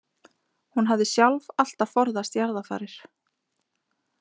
Hún hafði sjálf alltaf forðast jarðarfarir.